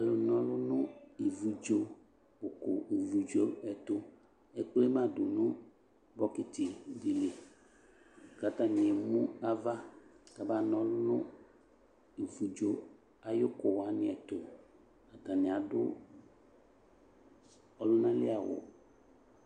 Alu nɔlu no ivudzo, uko ivudzo ɛto Ekple ma do no bokiti de li ka atane emu ava kaba nɔlu no ivudzo aye uko wane ɛtoAtane ado ɔluna li awu